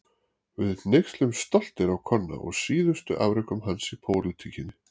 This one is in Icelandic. Við hneykslumst stoltir á Konna og síðustu afrekum hans í pólitíkinni.